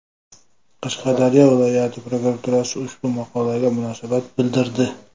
Qashqadaryo viloyat prokuraturasi ushbu maqolaga munosabat bildirdi.